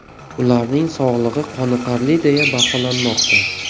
Ularning sog‘lig‘i qoniqarli deya baholanmoqda.